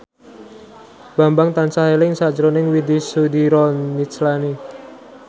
Bambang tansah eling sakjroning Widy Soediro Nichlany